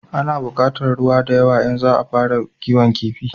A na bukatar ruwa da yawa in za a fara kiwon kifi